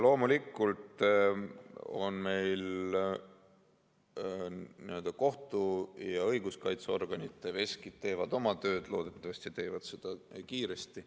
Loomulikult teevad kohtu‑ ja õiguskaitseorganite veskid oma tööd, loodetavasti teevad nad seda kiiresti.